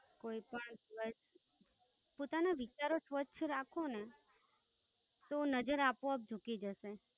કોઈ પણ દિવસ પોતાના વિચારો સ્પષ્ટ રાખોને તો નઝર આપોઆપ જુકી જશે